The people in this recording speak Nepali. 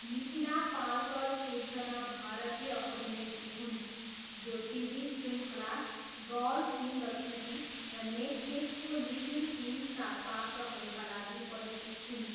मिथिला पालकर एकजना भारतीय अभिनेत्री हुन् जो टिभी शृङ्खला गर्ल इन द सिटी र नेटफ्लिक्सको लिटिल थिङ्ग्सका पात्रहरूका लागि परिचित छिन्।